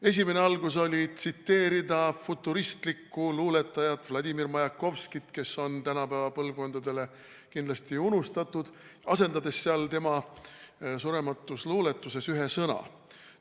Esimene algus oli tsiteerida futuristlikku luuletajat Vladimir Majakovskit, kes on tänapäeva põlvkondadele kindlasti unustatud, asendades seal tema surematus luuletuses ühe sõna.